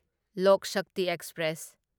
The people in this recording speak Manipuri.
ꯂꯣꯛ ꯁꯛꯇꯤ ꯑꯦꯛꯁꯄ꯭ꯔꯦꯁ